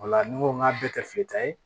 Ola ni n ko n k'a bɛɛ kɛ fili ta ye